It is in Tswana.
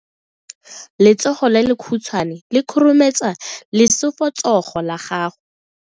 Letsogo le lekhutshwane le khurumetsa lesufutsogo la gago.